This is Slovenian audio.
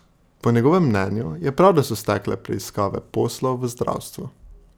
Po njegovem mnenju je prav da so stekle preiskave poslov v zdravstvu.